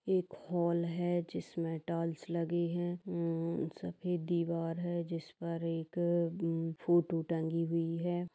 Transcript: एक हॉल है जिसमें टाइलस लगी है उम्म सफेद दीवार है जिस पर एक फोटो टंगी हुई है।